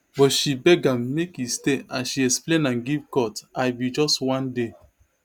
but she beg am make e stay as she explain am give court i bin just wan dey